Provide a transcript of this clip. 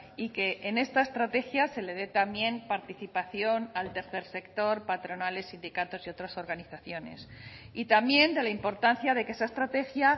y que en esta estrategia se le dé también participación al tercer sector patronales sindicatos y otras organizaciones y también de la importancia de que esa estrategia